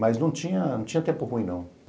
Mas não tinha não tinha tempo ruim, não.